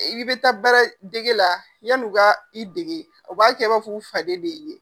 I bɛ taa baaradege la yann'u ka i dege o b'a kɛ i b'a fɔ u faden de y'i ye.